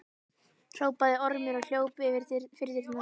hrópaði Ormur og hljóp fyrir dyrnar.